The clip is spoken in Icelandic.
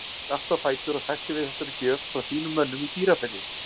Stattu á fætur og taktu við þessari gjöf frá þínum mönnum í Dýrafirði.